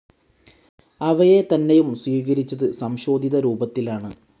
അവയെ തന്നെയും സ്വീകരിച്ചത് സംശോധിത രൂപത്തിലാണ്.